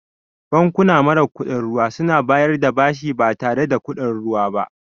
Bankuna mara kuɗin ruwa suna bayar da bashi ba tare da kuɗin ruwa ba.